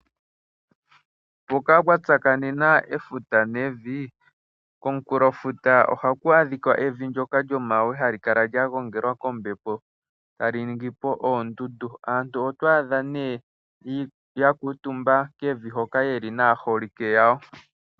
Mpoka pwa tsakanena efuta nevi, komunkulofuta ohaku adhika evi ndyoka lyomagwe hali kala lya gongelwa kombepo ta li ningi po oondundu. Aantu oto adha ne ya kuutumba kevi hoka ye li naaholike yawo.